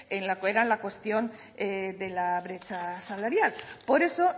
en lo que era la cuestión de la brecha salarial por eso